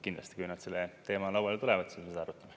Kindlasti, kui nad selle teemaga lauale tulevad, siis me seda arutame.